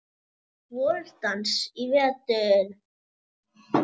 VorDans í vetur.